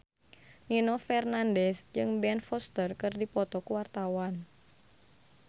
Nino Fernandez jeung Ben Foster keur dipoto ku wartawan